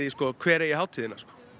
hver eigi hátíðina